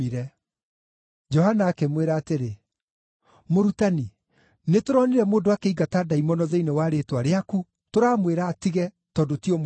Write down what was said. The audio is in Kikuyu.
Johana akĩmwĩra atĩrĩ, “Mũrutani, nĩtũronire mũndũ akĩingata ndaimono thĩinĩ wa rĩĩtwa rĩaku tũramwĩra atige, tondũ ti ũmwe witũ.”